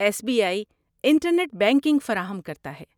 S B I internet banking فراہم کرتا ہے۔